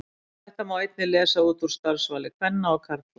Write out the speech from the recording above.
Þetta má einnig lesa út úr starfsvali kvenna og karla.